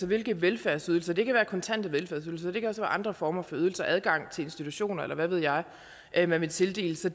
hvilke velfærdsydelser det kan være kontante velfærdsydelser det kan også være andre former for ydelser adgang til institutioner eller hvad ved jeg jeg man vil tildele så